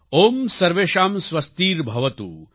ઓમ સર્વેષાં સ્વસ્તિર્ભવતુ